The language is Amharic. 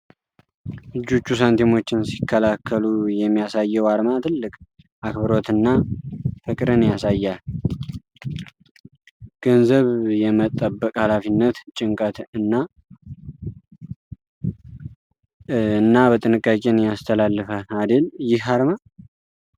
እጆቹ ሳንቲሞቹን ሲከላከሉ የሚያሳየው አርማ ትልቅ አክብሮትንና ፍቅርን ያሳያል። ገንዘብን የመጠበቅ ሃላፊነት ጭንቀትን እና ጥንቃቄን ያስተላልፋል አደል ይህ አርማ ።